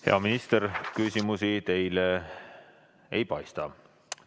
Hea minister, küsimusi teile ei paista olevat.